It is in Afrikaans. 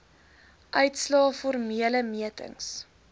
uitslae formele metings